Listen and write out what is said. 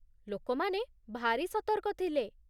ଲୋକମାନେ ଭାରି ସତର୍କ ଥିଲେ